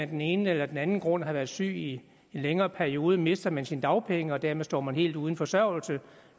den ene eller den anden grund har været syg i en længere periode mister man sine dagpenge og dermed står man helt uden forsørgelse